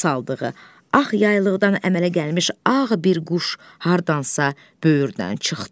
saldığı ağ yaylıqdan əmələ gəlmiş ağ bir quş hardansa böyürdən çıxdı.